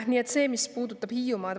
Nii palju sellest, mis puudutab Hiiumaad.